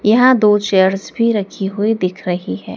यहां दो चेयर्स भी रखी हुई दिख रही है।